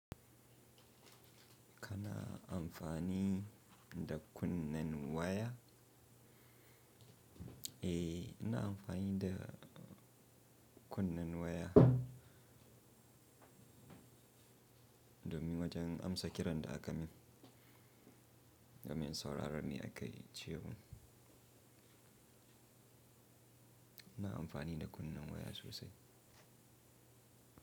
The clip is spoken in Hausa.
Kana amfani da kunnen waya? Eh, ina amfani da kunnen waya domin wajen amsa kiran da aka min domin in sauraron me akayi ce. Ina amfani da kunnen waya sosai.